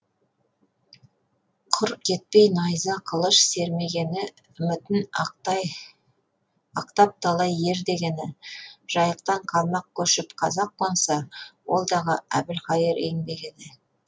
құр кетпей найза қылыш сермегені үмітін ақтап талай ер дегені жайықтан қалмақ көшіп қазақ қонса ол дағы әбілқайыр еңбегі еді